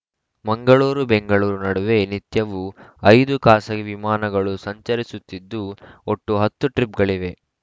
ಮಂಗಳೂರು ಬೆಂಗಳೂರು ನಡುವೆ ನಿತ್ಯವೂ ಐದು ಖಾಸಗಿ ವಿಮಾನಗಳು ಸಂಚರಿಸುತ್ತಿದ್ದು ಒಟ್ಟು ಹತ್ತು ಟ್ರಿಪ್‌ಗಳಿವೆ